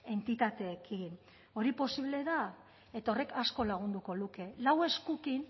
entitateekin hori posible da eta horrek asko lagunduko luke lau eskurekin